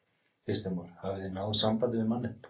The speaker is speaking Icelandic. Kristján Már: Hafið þið náð sambandi við manninn?